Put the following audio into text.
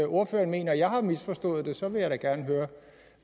ordføreren mener at jeg har misforstået det så vil jeg da gerne høre